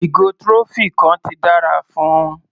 Ìgò trophy kan ti dára fún un.